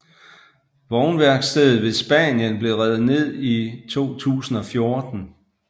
Vognværkstedet ved Spanien blev revet ned i 2014